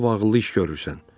Lap ağıllı iş görürsən.